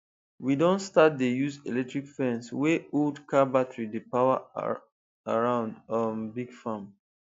we don start dey use electric fence wey old car battery dey power around um big farm